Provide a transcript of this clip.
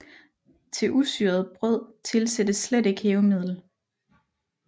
Til usyret brød tilsættes slet ikke hævemiddel